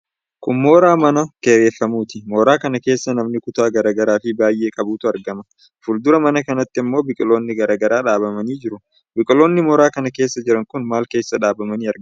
Kun mooraa mana kireeffamuuti. Mooraa kana keessa manni kutaa garaa garaa fi baay'ee qabutu argama. Fuldura mana kanaatti ammoo biqiloonni garaa garaa dhaabamanii jiru. Biqiloonni mooraa kana keessa jiran kun maal keessa dhaabamanii argamu?